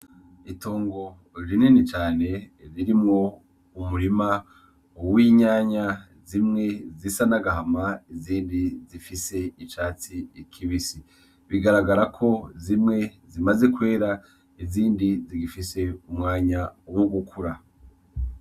Itongo rinini cane ririmwo umurima w'itomati zimwe zisa n'agahama izindi zifise icatsi kibisi bigaragarako zimwe zimaze kwera izindi zigifise umwanya wo gukura.